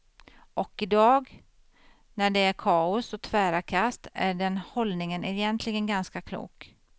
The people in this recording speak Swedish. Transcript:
Och i dag, när det är kaos och tvära kast, är den hållningen egentligen ganska klok.